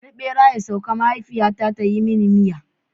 Bari bera ya sauka! mahaifiyata ta yi mini mita jiya.